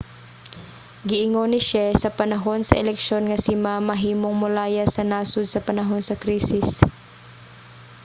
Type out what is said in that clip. giingon ni hsieh sa panahon sa eleksyon nga si ma mahimong molayas sa nasod sa panahon sa krisis